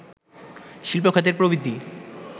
শিল্প খাতের প্রবৃদ্ধি